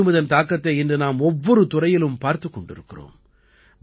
மேலும் இதன் தாக்கத்தை இன்று நாம் ஒவ்வொரு துறையிலும் பார்த்துக் கொண்டு இருக்கிறோம்